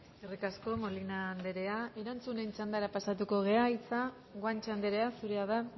eskerrik asko molina andrea erantzunen txandara pasatuko gara hitza guanche andrea zurea da